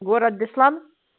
город беслан